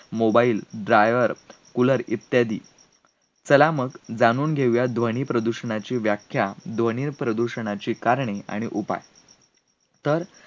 mobile, dryer, cooler इत्यादी. चला मग, जाणून घेऊयात ध्वनी प्रदूषणाची व्याख्या, ध्वनी प्रदूषणाची कारणे आणि उपाय. तर,